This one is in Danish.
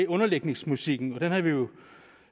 underlægningsmusikken og den har vi jo